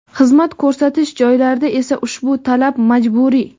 xizmat ko‘rsatish joylarida esa ushbu talab majburiy.